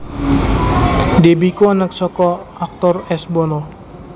Deby iku anak saka aktor S Bono